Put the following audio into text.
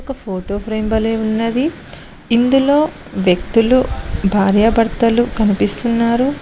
ఒక photo frame వలే ఉన్నది ఇందులో వ్యక్తులు భార్యాభర్తలు కనిపిస్తున్నారు.